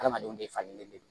Adamadenw de falenlen d